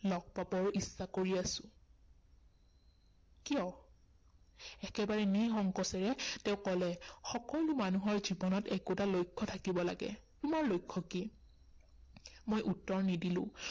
লগ পাবৰ ইচ্ছা কৰি আছো। কিয়? একেবাৰে নিসংকোচেৰে তেওঁ কলে, সকলো মানুহৰ জীৱনত একোটা লক্ষ্য থাকিব লাগে, তোমাৰ লক্ষ্য কি মই উত্তৰ নিদিলো।